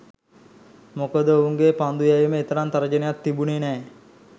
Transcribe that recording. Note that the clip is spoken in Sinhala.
මොකද ඔවුන්ගේ පන්දු යැවීම එතරම් තර්ජනයක් තිබුණේ නෑ.